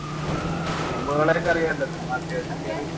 ആഹ് team കളെ ഒക്കെ അറിയാലോ ചുമ്മാ അത്യാവശ്യം കേറി